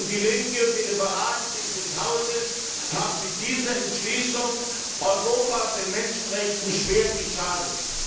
Die Linke und die Liberalen dieses Hauses haben mit dieser Entschließung Europa und den Menschenrechten schwer geschadet.